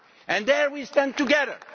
And there we stand together.